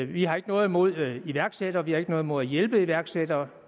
vi har ikke noget imod iværksættere og vi har ikke noget imod at hjælpe iværksættere